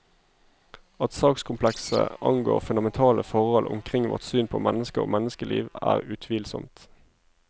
At sakskomplekset angår fundamentale forhold omkring vårt syn på mennesket og menneskeliv, er utvilsomt.